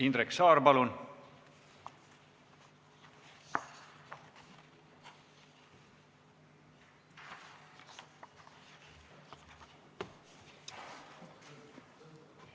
Indrek Saar, palun!